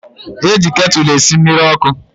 E ji ketụlụ esi mmiri ọkụ.